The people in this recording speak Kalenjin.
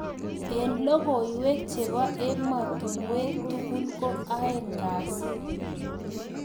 Eng logoiwek chebo emotunwek tugul ko aengkasi.